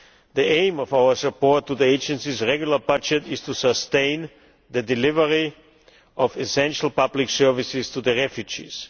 The aim of our support to the Agency's regular budget is to sustain the delivery of essential public services to the refugees.